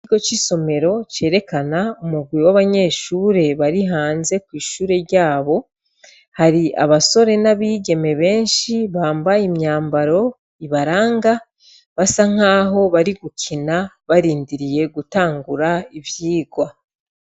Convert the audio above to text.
Ikigo cisomero cerekana umurwi wabanyeshure bari hanze yishure ryabo hari abasore nabigeme benshi bambaye imyambaro ibaranga basa nkaho bari gukina barindiriye gutangura ivyirwa